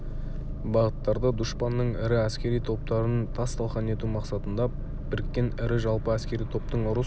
бағыттарда дұшпанның ірі әскери топтарын тас талқан ету мақсатында біріккен ірі жалпы әскери топтың ұрыс